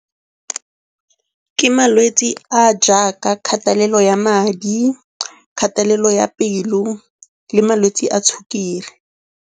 Ke malwetse a a jaaka kgatelelo ya madi, kgatelelo ya pelo le malwetse a sukiri.